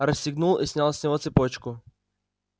расстегнул и снял с него цепочку